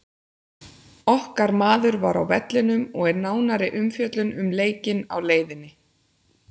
Okkar maður var á vellinum og er nánari umfjöllun um leikinn á leiðinni.